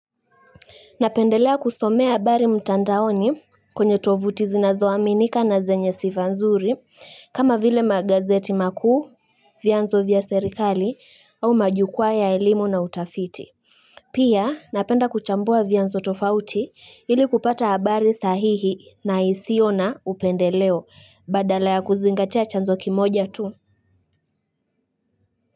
Napendelea kusomea abari mtandaoni kwenye tovuti zinazoaminika na zenye sifa nzuri kama vile magazeti makuu, vianzo vya serikali au majukua ya elimu na utafiti. Pia napenda kuchambua vianzo tofauti ili kupata abari sahihi na isio na upendeleo badala ya kuzingatea chanzo kimoja tu.